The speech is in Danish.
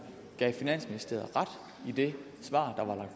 gav finansministeriet ret i det svar